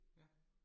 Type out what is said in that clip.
Ja